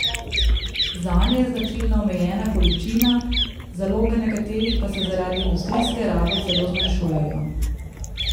Zanje je značilna omejena količina, zaloge nekaterih pa se zaradi industrijske rabe celo zmanjšujejo.